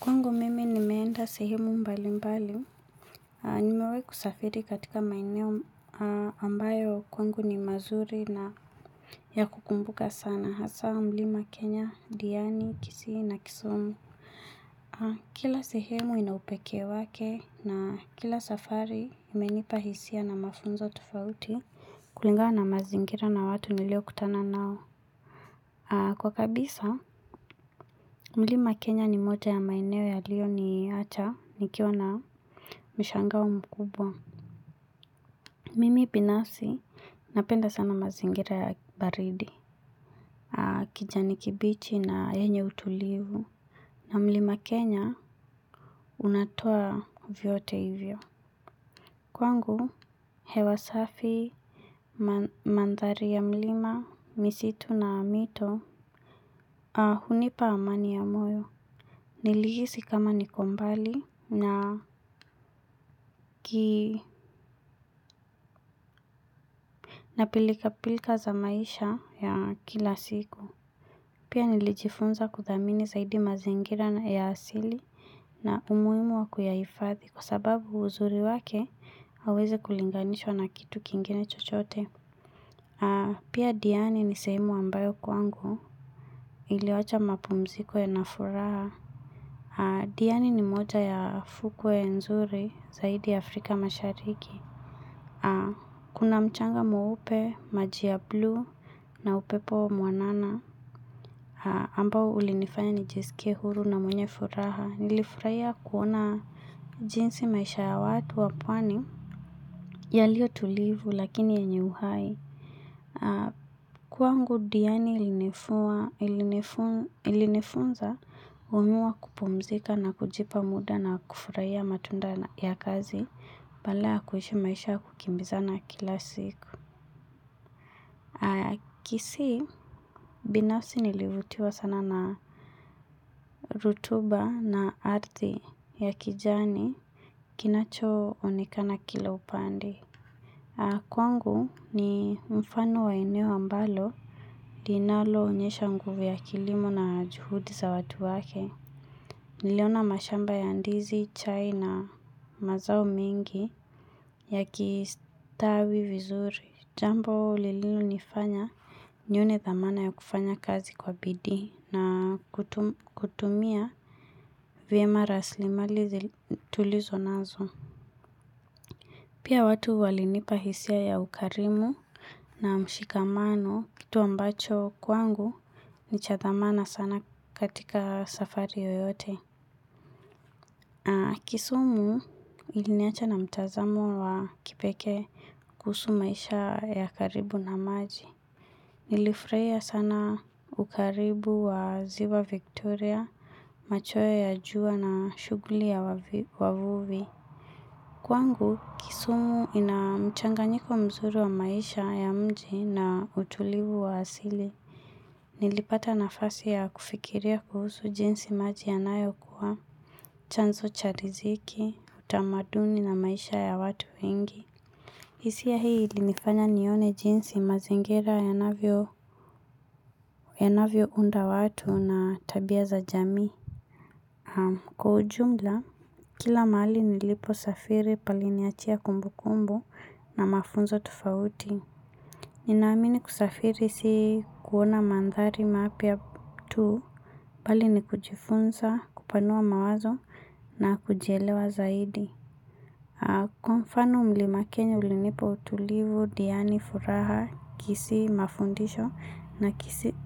Kwangu mimi nimeenda sehemu mbali mbali. Nimewahi kusafiri katika maeneo ambayo kwangu ni mazuri na ya kukumbuka sana. Hasa Mlima Kenya, Diani, Kisii na Kisumu. Kila sehemu ina upekee wake na kila safari imenipa hisia na mafunzo tofauti. Kulingana na mazingira na watu nilio kutana nao. Kwa kabisa, Mlima Kenya ni moja ya maeneo yaliyoniacha, ni kiwa na. Mishangao makubwa. Mimi binafsi napenda sana mazingira ya baridi kijani kibichi na yenye utulivu. Na Mlima Kenya unatoa vyote hivyo. Kwangu hewa safi mandhari ya mlima, misitu na mito, ahh hunipa amani ya moyo nilihisi kama niko mbali na. Kii na pilkapilka za maisha ya kila siku pia nilijifunza kuthamini zaidi mazingira na ya asili na umuhimu wa kuyaifadhi kwa sababu uzuri wake haweze kulinganishwa na kitu kingine chochote. Pia Diani ni sehemu ambayo kwangu iliwacha mapumziko yana furaha. Diani ni moja ya fukwe ya nzuri zaidi Afrika mashariki. Ahh. Kuna mchanga mwupe, maji ya bluu na upepo mwanana ambao ulinifanya nijisikie huru na mwenye furaha. Nilifurahia kuona jinsi maisha ya watu wa pwani yaliyotulivu lakini yenye uhai. Kwangu Diani ilinifunza kujua kupumzika na kujipa muda na kufurahia matunda ya kazi badala ya kuishi maisha ya kukimbizana kila siku. Kisii, binafsi nilivutiwa sana na rutuba na ardhi ya kijani kinachonekana kila upande. Kwangu ni mfano wa eneo ambalo linalonyesha nguvu ya kilimo na juhudi za watu wake. Niliona mashamba ya ndizi, chai na mazao mingi yakistawi vizuri. Jambo lililonifanya nione thamana ya kufanya kazi kwa bidii na kutumia vyema rasilimali tulizonazo. Pia watu walinipa hisia ya ukarimu na mshikamano kitu ambacho kwangu ni chathamana sana katika safari yoyote. Kisumu iliniacha na mtazamo wa kipekee kuhusu maisha ya karibu na maji. Nilifurahia sana ukaribu wa ziwa Victoria, machweo ya jua na shughuli ya wavuvi. Kwangu Kisumu ina mchanganyiko mzuri wa maisha ya mji na utulivu wa asili. Nilipata nafasi ya kufikiria kuhusu jinsi maji yanayokuwa chanzo cha riziki, utamaduni na maisha ya watu wengi. Hisia hii ilinifanya nione jinsi mazingira yanavyounda watu na tabia za jamii. Ahh. Kwa ujumla, kila mahali niliposafiri paliniachia kumbukumbu na mafunzo tofauti. Ninaamini kusafiri si kuona mandhari mpya tu, bali ni kujifunza, kupanua mawazo na kujielewa zaidi. Kwa mfano Mlima Kenya ulinipa utulivu, Diani, furaha, Kisii, mafundisho na